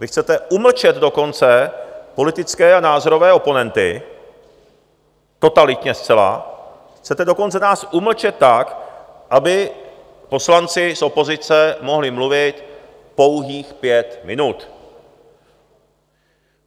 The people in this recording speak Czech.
Vy chcete umlčet dokonce politické a názorové oponenty, totalitně zcela, chcete dokonce nás umlčet tak, aby poslanci z opozice mohli mluvit pouhých pět minut.